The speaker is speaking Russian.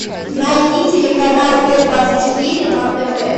найди телеканал т двадцать четыре на тв